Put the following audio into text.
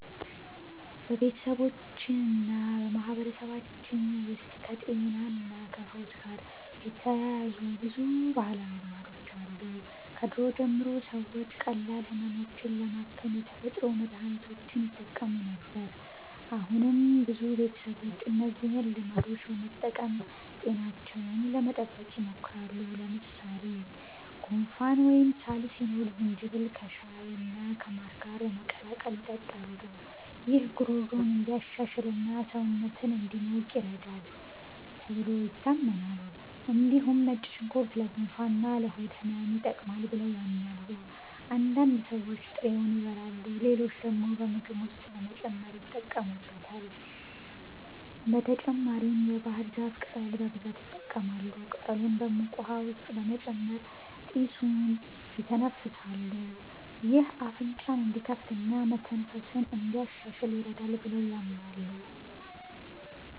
በቤተሰባችንና በማህበረሰባችን ውስጥ ከጤናና ከፈውስ ጋር የተያያዙ ብዙ ባህላዊ ልማዶች አሉ። ከድሮ ጀምሮ ሰዎች ቀላል ህመሞችን ለማከም የተፈጥሮ መድሀኒቶችን ይጠቀሙ ነበር። አሁንም ብዙ ቤተሰቦች እነዚህን ልማዶች በመጠቀም ጤናቸውን ለመጠበቅ ይሞክራሉ። ለምሳሌ ጉንፋን ወይም ሳል ሲኖር ዝንጅብል ከሻይና ከማር ጋር በመቀላቀል ይጠጣሉ። ይህ ጉሮሮን እንዲሻሽልና ሰውነትን እንዲሞቅ ይረዳል ተብሎ ይታመናል። እንዲሁም ነጭ ሽንኩርት ለጉንፋንና ለሆድ ህመም ይጠቅማል ብለው ያምናሉ። አንዳንድ ሰዎች ጥሬውን ይበላሉ፣ ሌሎች ደግሞ በምግብ ውስጥ በመጨመር ይጠቀሙበታል። በተጨማሪም የባህር ዛፍ ቅጠል በብዛት ይጠቀማሉ። ቅጠሉን በሙቅ ውሃ ውስጥ በመጨመር ጢሱን ይተነፍሳሉ። ይህ አፍንጫን እንዲከፍትና መተንፈስን እንዲያሻሽል ይረዳል ብለው ያምናሉ።